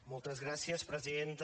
moltes gràcies presidenta